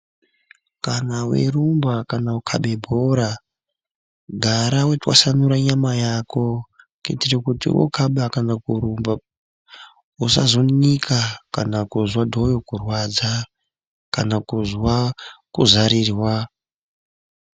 Kana weirumba kana kukabe bhora Gara weitwasanura nyama yako kuitire kuti wokaba kana kurumba usazonika kana kuzwa dhoyo kurwadza kana kuzwa kuzarirwa.